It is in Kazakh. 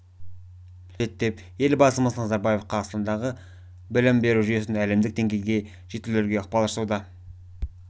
әдістерді енгізу қажет деп елбасымыз назарбаев қазақстандық білім беру жүйесін әлемдік деңгейде жетілдіруге ықпал жасауда